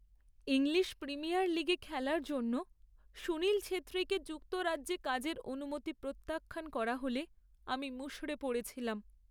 English Premier লিগে খেলার জন্য সুনীল ছেত্রীকে যুক্তরাজ্যে কাজের অনুমতি প্রত্যাখ্যান করা হলে আমি মুষড়ে পড়েছিলাম।